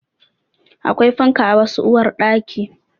Akwai fanka a wasu uwarɗaki